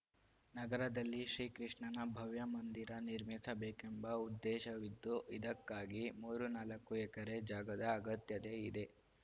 ನಗರದಲ್ಲಿ ಶ್ರೀಕೃಷ್ಣನ ಭವ್ಯ ಮಂದಿರ ನಿರ್ಮಿಸಬೇಕೆಂಬ ಉದ್ದೇಶವಿದ್ದು ಇದಕ್ಕಾಗಿ ಮೂರು ನಾಲ್ಕು ಎಕರೆ ಜಾಗದ ಅಗತ್ಯತೆ ಇದೆ